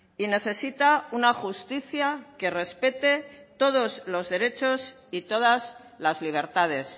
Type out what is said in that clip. y necesita una justicia que respete todos los derechos y todas las libertades